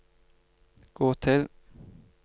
gå til